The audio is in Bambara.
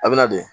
A bɛ na de